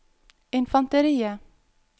infanteriet